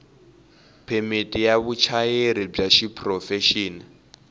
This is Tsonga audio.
phemiti ya vuchayeri bya xiprofexini